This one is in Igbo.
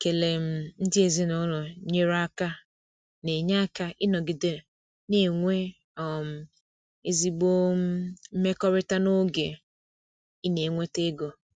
Ikele um ndị ezinụlọ nyere aka na-enye aka ịnọgide na-enwe um ezigbo um mmekọrịta n’oge ị na-enweta ego.